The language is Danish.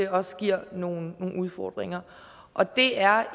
også giver nogle udfordringer og det er